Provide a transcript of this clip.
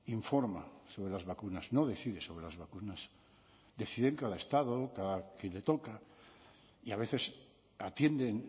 informa sobre las vacunas no decide sobre las vacunas decide cada estado que le toca y a veces atienden